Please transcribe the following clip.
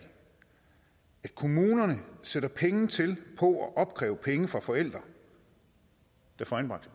at kommunerne sætter penge til på at opkræve penge fra forældre der får anbragt